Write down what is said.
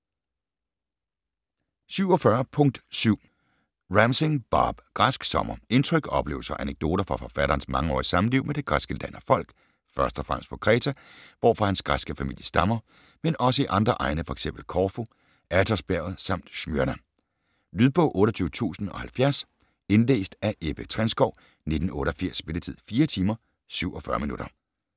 47.7 Ramsing, Bob: Græsk sommer Indtryk, oplevelser og anekdoter fra forfatterens mangeårige samliv med det græske land og folk, først og fremmest på Kreta, hvorfra hans græske familie stammer, men også i andre egne, f.eks. Korfu, Athosbjerget samt Smyrna. Lydbog 28070 Indlæst af Ebbe Trenskow, 1988. Spilletid: 4 timer, 47 minutter.